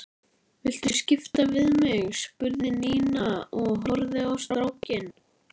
Viltu skipta við mig? spurði Nína og horfði á strákinn.